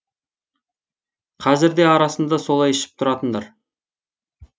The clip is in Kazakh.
қазір де арасында солай ішіп тұратындар